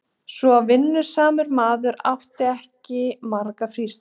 Svo vinnusamur maður átti ekki margar frístundir.